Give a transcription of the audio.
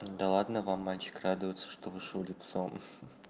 да ладно вам мальчик радуется что вышел лицом